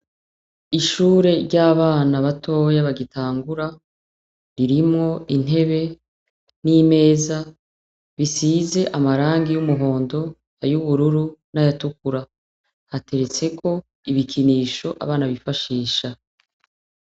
Ishure ry'abana batoya bagitangura , ririmwo intebe n'imeza bisize amarangi ,y'umuhondo ay'ubururu n'ayatukura hateretseko ibikinisho abana bifashisha.